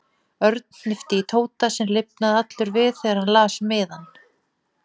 Örn hnippti í Tóta sem lifnaði allur við þegar hann las miðann.